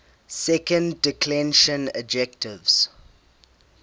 second declension adjectives